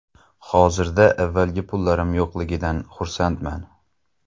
Hozirda avvalgi pullarim yo‘qligidan xursandman.